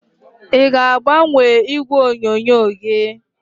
ị ga-agbanwe igwe onyonyo gị?